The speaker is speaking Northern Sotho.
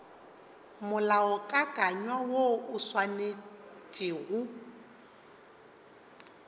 molaokakanywa woo o swanetše go